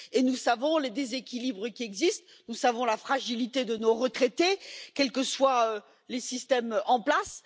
Nous savons les déséquilibres qui existent, nous savons la fragilité de nos retraités, quels que soient les systèmes en place.